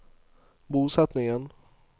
bosetningen